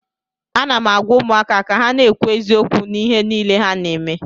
Ana m agwa ụmụaka ka ha na-ekwu eziokwu n'ihe niile ha na-eme